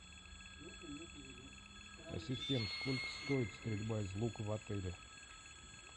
ассистент сколько стоит стрельба из лука в отеле